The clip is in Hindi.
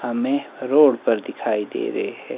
हमें रोड पर दिखाई दे रहे हैं।